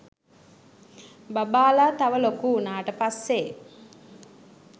බබාලා තව ලොකු උනාට පස්සේ